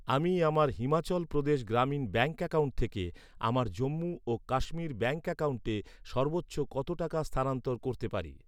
আমি আমার Himachal Pradesh Gramin bank account থেকে আমার জম্মু ও কাশ্মীর ব্যাঙ্ক অ্যাকাউন্টে সর্বোচ্চ কত টাকা স্থানান্তর করতে পারি?